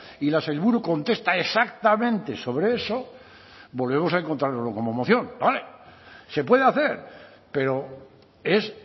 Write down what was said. y la sailburu contesta exactamente sobre eso volvemos a encontrárnoslo como moción se puede hacer pero es